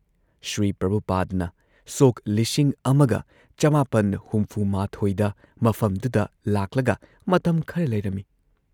ꯁ꯭ꯔꯤ ꯄ꯭ꯔꯚꯨꯄꯥꯗꯅ ꯁꯣꯛ ꯱꯹꯶꯱ꯗ ꯃꯐꯝꯗꯨꯗ ꯂꯥꯛꯂꯒ ꯃꯇꯝ ꯈꯔ ꯂꯩꯔꯝꯏ ꯫